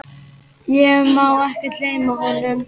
Ég má ekki gleyma honum.